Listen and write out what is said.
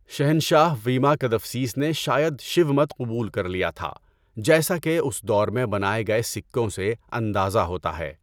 شہنشاہ ویما کدفسیس نے شاید شیو مت کو قبول کر لیا تھا جیسا کہ اس دور میں بنائے گئے سکوں سے اندازہ ہوتا ہے۔